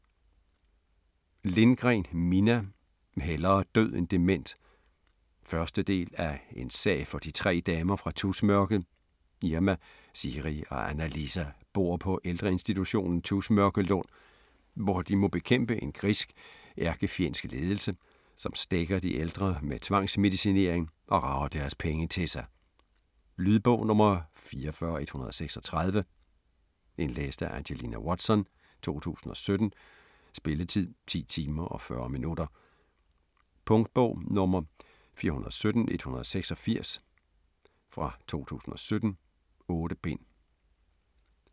Lindgren, Minna: Hellere død end dement 1. del af En sag for de tre damer fra Tusmørket. Irma, Siiri og Anna-Liisa bor på på ældreinstitutionen Tusmørkelund, hvor de må bekæmpe en grisk, ældrefjendsk ledelse, som stækker de ældre med tvangsmedicinering og rager deres penge til sig. Lydbog 44136 Indlæst af Angelina Watson, 2017. Spilletid: 10 timer, 40 minutter. Punktbog 417186 2017. 8 bind.